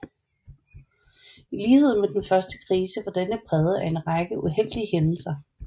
I lighed med den første krise var denne præget af en række uheldige hændelser